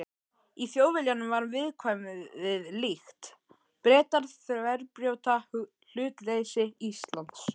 Í Þjóðviljanum var viðkvæðið líkt: Bretar þverbrjóta hlutleysi Íslands.